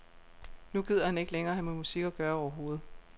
Nu gider han ikke længere have med musik at gøre overhovedet.